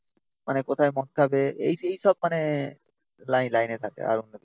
মানে কোথায় মদ খাবে এই সেই সব মানে লাইন লাইনে থাকে আরো অন্য কিছু